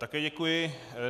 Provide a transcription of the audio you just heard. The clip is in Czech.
Také děkuji.